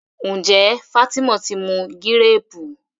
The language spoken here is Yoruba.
njé Fatima tí mú Gírèèpù?